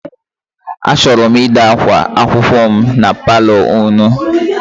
Achọrọ m ide akwa akwụkwọ m na paalọ unu.